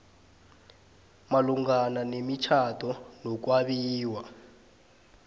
malungana nemitjhado nokwabiwa